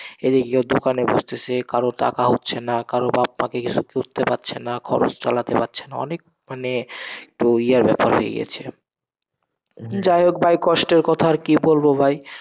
এদিকে কেও দোকানে বসতেসে, কারো টাকা হচ্ছে না, কারো বাপ মা কে কিসব করতে পাচ্ছে না, খরচ চালাতে পাচ্ছে না অনেক মানে, ও ইয়ার ব্যাপার হয়ে গেছে, যাই হোক ভাই, কষ্টের কথা আর কি বলবো ভাই,